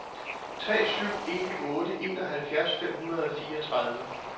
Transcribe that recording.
tre syv en otte enoghalvfjerds fem hundrede og fireogtredive